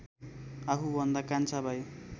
आफूभन्दा कान्छा भाइ